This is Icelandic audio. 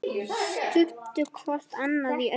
Studdu hvort annað í öllu.